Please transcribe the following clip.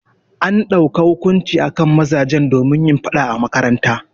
An dauka hukunci akan mazajen domin yin faɗa a makaranta.